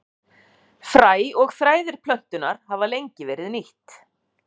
Fræ og þræðir plöntunnar hafa lengi verið nýtt.